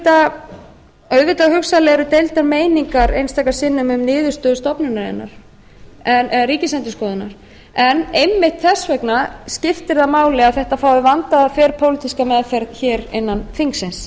úti auðvitað hugsanlega eru deildar meiningar einstaka sinnum um niðurstöður ríkisendurskoðunar einmitt þess vegna skiptir það máli að þetta fái vandaða þverpólitíska meðferð hér innan þingsins